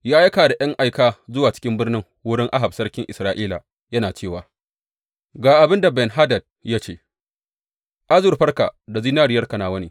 Ya aika da ’yan aika zuwa cikin birnin wurin Ahab sarkin Isra’ila yana cewa, Ga abin da Ben Hadad ya ce, Azurfarka da zinariyarka nawa ne.